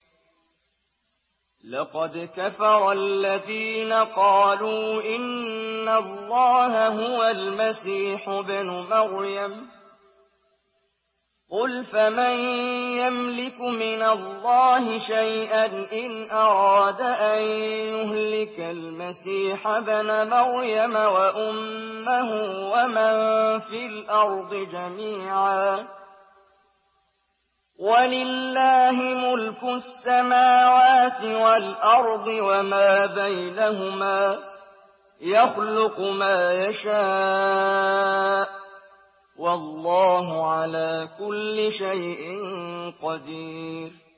لَّقَدْ كَفَرَ الَّذِينَ قَالُوا إِنَّ اللَّهَ هُوَ الْمَسِيحُ ابْنُ مَرْيَمَ ۚ قُلْ فَمَن يَمْلِكُ مِنَ اللَّهِ شَيْئًا إِنْ أَرَادَ أَن يُهْلِكَ الْمَسِيحَ ابْنَ مَرْيَمَ وَأُمَّهُ وَمَن فِي الْأَرْضِ جَمِيعًا ۗ وَلِلَّهِ مُلْكُ السَّمَاوَاتِ وَالْأَرْضِ وَمَا بَيْنَهُمَا ۚ يَخْلُقُ مَا يَشَاءُ ۚ وَاللَّهُ عَلَىٰ كُلِّ شَيْءٍ قَدِيرٌ